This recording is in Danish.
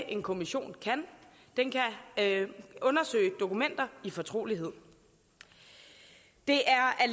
en kommission kan den kan undersøge dokumenter i fortrolighed det